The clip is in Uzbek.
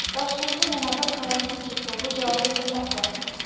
Toshkentda yana bir karantin cheklovi joriy etilmoqda.